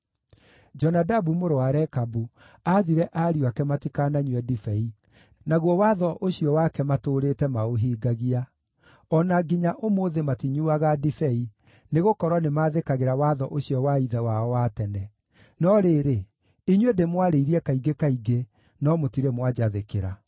‘Jonadabu mũrũ wa Rekabu aathire ariũ ake matikananyue ndibei, naguo watho ũcio wake matũũrĩte maũhingagia. O na nginya ũmũthĩ matinyuuaga ndibei, nĩgũkorwo nĩmathĩkagĩra watho ũcio wa ithe wao wa tene. No rĩrĩ, inyuĩ ndĩmwarĩirie kaingĩ kaingĩ, no mũtirĩ mwanjathĩkĩra.